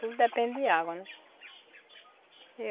Tudo depende de água, né?